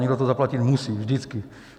Někdo to zaplatit musí, vždycky.